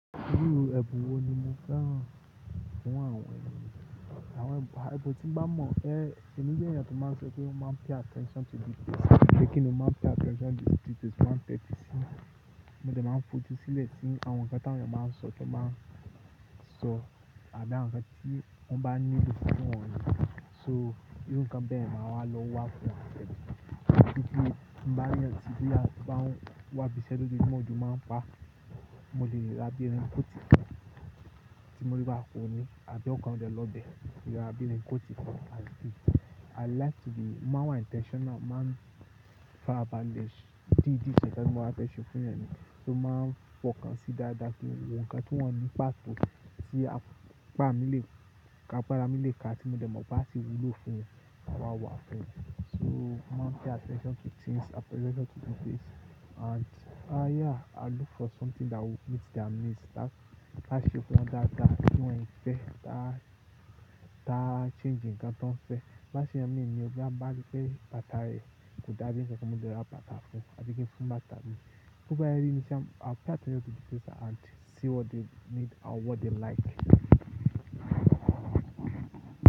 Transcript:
Irú ẹ̀bùn wo ni mo fẹ́ràn? Àwọn ènìyàn, ibo tí ń bá mọ̀ ẹ́, èmi jẹ́ ẹ̀yàn tó máa ń ṣe pé mo máa ń pay attention to details. Jẹ́ kíni mo máa ń pay attention to details, mo máa ń pay attention. Mo de máa ń fòjú sílẹ̀ tí àwọn nǹkan tí àwọn èeyàn máa ń sọ to ba n sọ àbí àwọn nǹkan tí wọ́n bá nílò fún wọ́n yẹn. So irú nǹkan bẹ́ẹ̀ ni màá wá lọ wa fún wọn pẹ̀lú. Nígbà tí mo bá ní ọ̀tí bí làá bá wá bí iṣẹ́ tó bí mọ̀ọ́jú máa ń bá, mo lè ra bí ẹni ń kó ti kan tí mo rí bá fún un ní àbí ọ̀kan ọ̀dẹ lọ́bẹ̀, yóò ha bí ẹni ń kó ti kan and good. I like to be, mo máa wà intentional, màá ń farabalẹ̀ di dí ṣẹ̀ṣẹ̀ kan ti ó máa n fẹ́ ṣe fún èeyàn ni. So màá ń fọkàn sí dáadáa pélu wọn nǹkan tí wọ́n ní pàtó tí apá mi lè, ká agbára mi lè ká tí mo de mo pe asi wúlò fún mi, màá wá wá fún wọn. So mo máa ń pay attention to things, i pay attention to details and uh yeah, i look for something that will meet their needs. Ta se nkan dáadáa ti won se fe, taa taa changii nkan to fe láṣẹ ẹmi mi ni, ọbí à bá ti fẹ́ bàtà rẹ̀ kù dájú kí ẹmi jẹ́ kí ó máa gbé bàtà fún un àbí kí n fún bàtà mi. Toba se ri ni sha, i will try to see what they need and what they like.